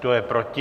Kdo je proti?